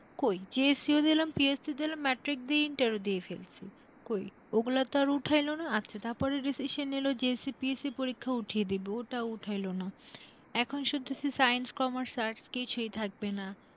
কই? GSC ও দিলাম, PSC দিলাম, ম্যাট্রিক দিয়ে ইন্টার ও দিয়ে ফেলেছি। কই? ওগুলা তো আর উঠাইলোনা, আচ্ছা তারপরে decision নিল, GSC, PSC পরীক্ষা উঠিয়ে দিবে, ওটাও উঠাইলোনা। এখন শুধু তো Science, Commerce, Arts কিছুই থাকবে না।